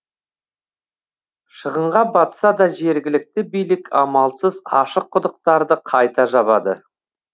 шығынға батса да жергілікті билік амалсыз ашық құдықтарды қайта жабады